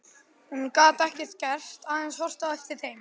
Hún gat ekkert gert, aðeins horft á eftir þeim.